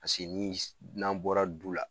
ni s n'an bɔra du la